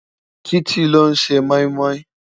Titi ló n sé moimoi